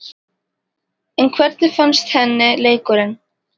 En hvernig fannst henni leikurinn?